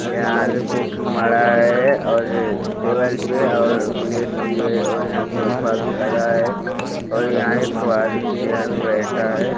यहाँ यह काफ़ी मडा है और टेबल पे और प्लेट भी है और यहां सोफा भी लगा है और यहाँ एक ठो आदमी चेयर में बैठा हैं।